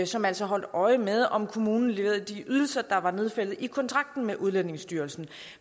som altså holdt øje med om kommunen leverede de ydelser der var nedfældet i kontrakten med udlændingestyrelsen